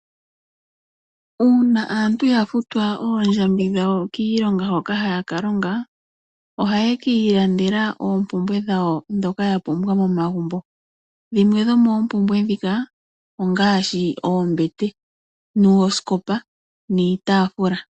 Uuna aantu ya futwa oondjambi dhawo kiilonga hoka haya ka longa ohaye kiilandela oompumbwe dhawo ndhoka ya pumbwa momagumbo. Dhimwe dhomoopumbwe ndhika ongaashi oombete, noosikopa niitaafula.